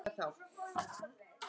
Að vera laus við